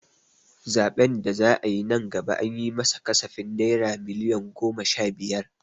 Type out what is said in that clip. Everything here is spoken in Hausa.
Zaɓen da za'a yi nan gaba an yi ma sa kasafin naira miliyon goma sha biyar.